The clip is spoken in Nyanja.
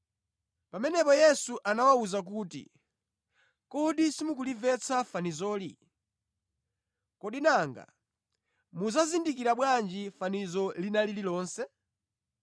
Pamenepo Yesu anawawuza kuti, “Kodi simukulimvetsa fanizoli? Kodi nanga mudzazindikira bwanji fanizo lina lililonse?